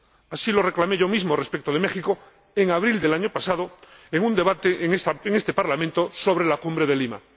Así lo declaré yo mismo respecto de México en abril del año pasado, en un debate en este Parlamento sobre la Cumbre de Lima.